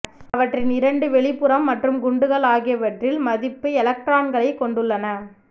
அவற்றின் இரண்டு வெளிப்புறம் மற்றும் குண்டுகள் ஆகியவற்றில் மதிப்பு எலக்ட்ரான்களைக் கொண்டுள்ளன